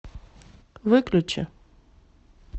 выключи